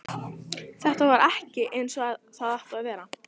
Þetta var ekki eins og það átti að vera.